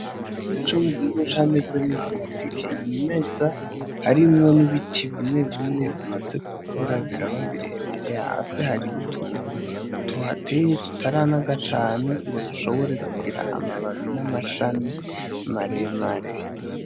Igipangu co mugihosha camezemwo amateke y'imeza, harimwo n'ibiti bimwebimwe bimaze kukura biraba birebire, hasi hari utuntu tuhateye tutaranaga cane ngo dushobore kugira amababi n'amacami maremare.